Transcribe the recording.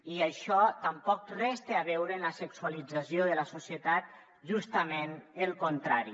i això tampoc res té a veure amb la sexualització de la societat justament el contrari